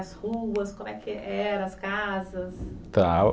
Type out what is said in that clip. As ruas, como é que era, as casas? Tá...